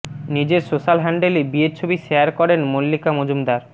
নিজের সোশ্যাল হ্যান্ডেলে বিয়ের ছবি শেয়ার করেন মল্লিকা মজুমদার